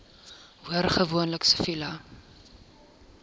hoor gewoonlik siviele